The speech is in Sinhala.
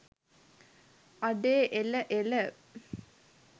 අඩේ එල එල